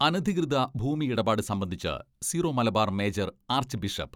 അനധികൃത ഭൂമിയിടപ്പാട് സംബന്ധിച്ച് Syro Malabar major arch bishop